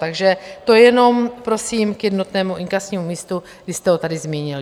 Takže to jenom prosím k jednotnému inkasnímu místu, když jste ho tady zmínil.